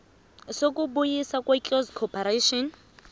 sokubuyiswa kweclose corporation